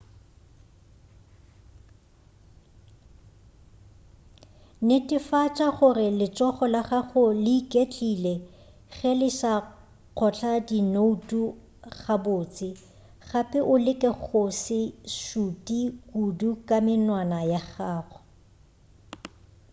netefatša gore letsogo la gago le iketlile ge le sa kgotla dinoutu gabotse gape o leke go se šute kudu ka menwana ya gago